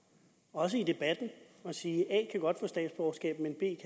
også i debatten at sige at a godt kan få statsborgerskab men b